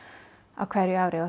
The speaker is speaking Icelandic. á hverju ári og